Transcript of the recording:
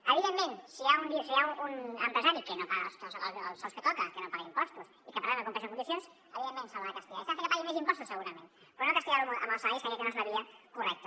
evidentment si hi ha un empresari que no paga els sous que toquen que no paga impostos i que per tant no compleix una sèrie de condicions evidentment se l’ha de castigar i s’ha de fer que pagui més impostos segurament però no castigar lo amb els salaris que crec que no és la via correcta